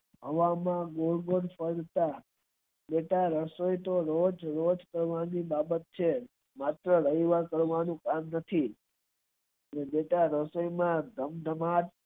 હવા માં ગોળ ગોળ ફરતા બેટા રસોઈ તો રોજ રોજ કરવાની બાબત છે માત્ર રવિવારે કરવાનું કામ નથી એટલે બેટા રસોઈ માં ધમધમાટ